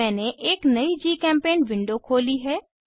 मैंने एक नयी जीचेम्पेंट विंडो खोली है